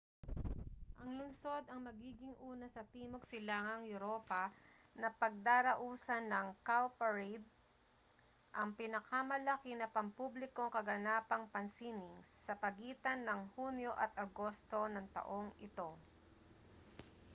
ang lungsod ang magiging una sa timog-silangang europa na pagdarausan ng cowparade ang pinalamalaki na pampublikong kaganapang pansining sa pagitan ng hunyo at agosto ng taong ito